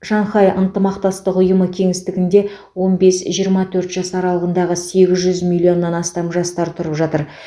шанхай ынтымақтастық ұйымы кеңістігінде он бес жиырма төрт жас аралығындағы сегіз жүз миллионнан астам жастар тұрып жатыр